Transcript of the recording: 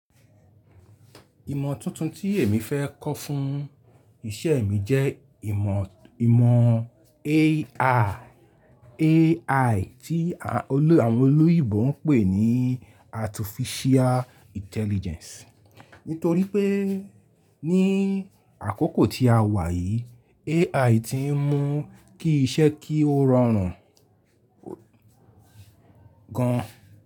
Ìmọ̀ tuntun tí èmi fẹ́ kọ́ fún ìṣe mi jẹ́ ìmọ̀, ìmọ̀ AI tí àwọn olóyìibo ń pè ní Artificial Intelligence. Nítorí pé ní àkókò tí a wà yìí AI ti ń mú kí iṣẹ́ kí ó rọrùn gan.